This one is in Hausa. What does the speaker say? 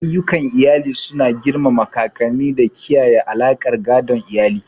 Ayyukan iyali suna girmama kakanni da kiyaye alaƙar gadon iyali.